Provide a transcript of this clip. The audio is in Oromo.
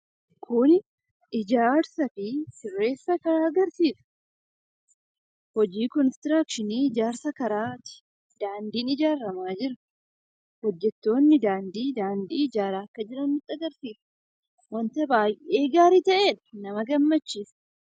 Kuni ijaarsaa fi sirreessa kan agarsiisu, hojii konistiraakshinii (construction) ijaarsa karaati. Daandiin ijaaramaa jiru, hojjettoonni daandii, daandii ijaaraa akka jiran nutti agarsiisa. Waanta baay'ee gaarii ta'edha! Nama gammachiisa!